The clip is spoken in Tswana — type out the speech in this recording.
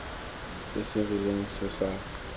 se se rileng se sa